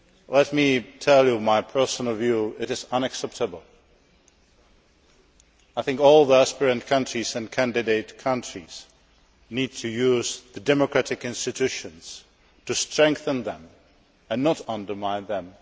Let me tell you my personal view it is unacceptable. I think all the aspirant countries and candidate countries need to use the democratic institutions to strengthen them and not undermine them.